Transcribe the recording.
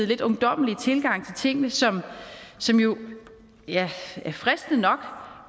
lidt ungdommelige tilgang til tingene som som jo er fristende nok